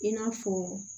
I n'a fɔ